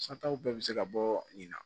Sataw bɛɛ bɛ se ka bɔ nin na